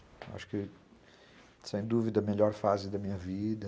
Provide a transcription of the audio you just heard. Acho que, sem dúvida, é a melhor fase da minha vida.